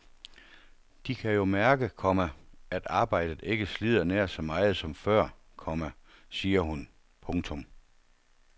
De kan jo mærke, komma at arbejdet ikke slider nær så meget som før, komma siger hun. punktum